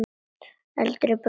Eldri bróður míns?